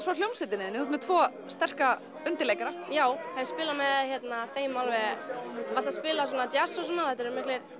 frá hljómsveitinni þú ert með tvo sterka undirleikara já hef spilað með þeim alveg við höfum alltaf spilað svona djass og svona þetta eru